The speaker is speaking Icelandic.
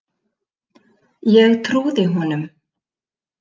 Ég trúði honum.